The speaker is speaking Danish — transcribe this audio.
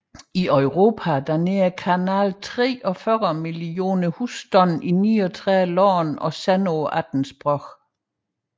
I Europa når kanalen 43 millioner husstande i 39 lande og sender på 18 sprog